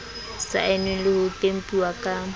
saennweng le ho tempuwa ke